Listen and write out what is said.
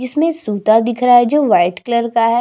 इसमें सुपा दिख रहा है जो वाइट कलर का है।